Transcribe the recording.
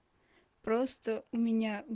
просто у меня